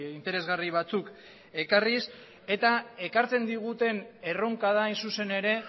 interesgarri batzuk ekarriz eta ekartzen diguten erronka da hain zuzen ere